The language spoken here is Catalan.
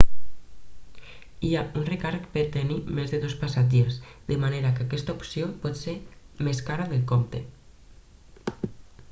hi ha un recàrrec per tenir més de dos passatgers de manera que aquesta opció pot ser més cara del compte